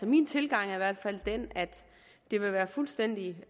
min tilgang i hvert fald er den at det ville være fuldstændig